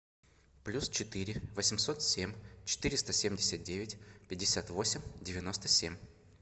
плюс четыре восемьсот семь четыреста семьдесят девять пятьдесят восемь девяносто семь